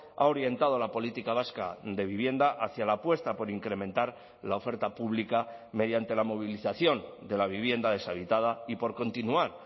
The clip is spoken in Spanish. ha orientado la política vasca de vivienda hacia la apuesta por incrementar la oferta pública mediante la movilización de la vivienda deshabitada y por continuar